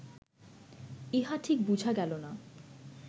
ইহা ঠিক বুঝা গেল না